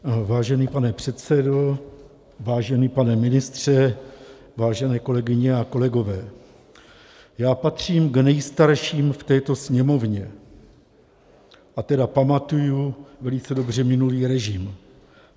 Vážený pane předsedo, vážený pane ministře, vážené kolegyně a kolegové, já patřím k nejstarším v této Sněmovně, a tedy pamatuji velice dobře minulý režim.